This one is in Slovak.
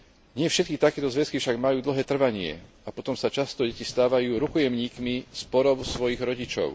Nie všetky takéto zväzky však majú dlhé trvanie a potom sa často deti stávajú rukojemníkmi sporov svojich rodičov.